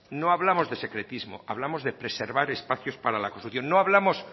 no hablamos de secretismo hablamos de preservar espacios para la construcción no hablamos